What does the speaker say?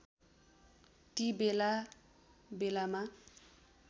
ती बेला बेलामा